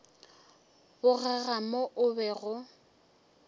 bogega mo o bego o